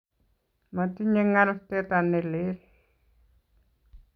Matinye ngal teta ne lel